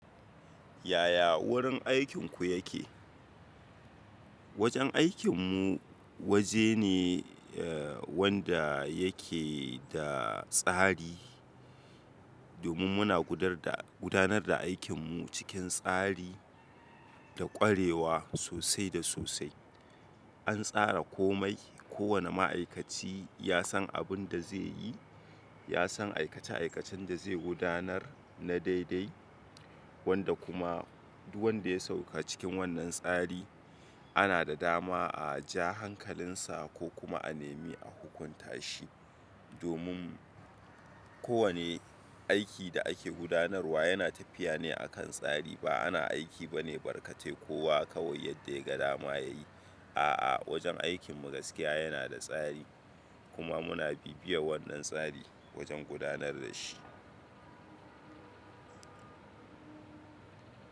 Yaya wurin aikinku yake? Wajen aikinmu waje ne eh wanda yake da tsari domin muna gudar da gudanar da aikinmu cikin tsari da ƙwarewa sosai da sosai. An tsara komai, kowane ma'aikaci ya san abin da zai yi, ya san aikace aikacen da zai gudanar na daidai wanda kuma duk wanda ya sauka cikin wannan tsari ana da dama a ajiye hankalinsa ko kuma a nemi a hukunta shi. Domin kowane aiki da ake gudanarwa yana tafiya ne a kan tsari. Ba ana aiki ba ne barkate kowa kawai yadda ya ga dama ya yi. A'a, wajen aikinmu gaskiya yana da tsari kuma muna bibiyar wannan tsari wajen gudanar da shi.